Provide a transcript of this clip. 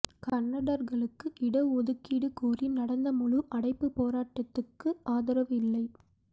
கன்னடர்களுக்கு இட ஒதுக்கீடு கோரி நடந்த முழு அடைப்பு போராட்டத்துக்கு ஆதரவு இல்லை